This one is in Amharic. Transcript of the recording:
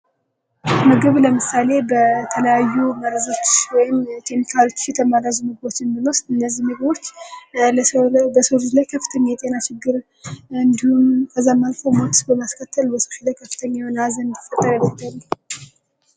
ምግብ ለምሳሌ በተለያዩ መርዞች ወይም ኬሚካሎች የተመረዙ ምግቦችን ብንወስድ እነዚህ ምግቦች በሰው ልጅ ላይ ከፍተኛ የጤና ችግር እንድሁም ከዚያም አልፎ ሞት በማስከተል በሰዎች ላይ ሀዘን እንድፈጠር ያደርጋሉ።